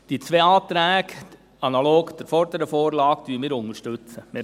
Die zwei Anträge, analog der vorherigen Vorlage, unterstützen wir.